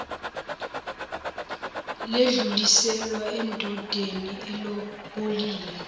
ledluliselwa endodeni elobolile